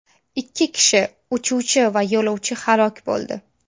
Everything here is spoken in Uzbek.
Ikki kishi uchuvchi va yo‘lovchi halok bo‘ldi.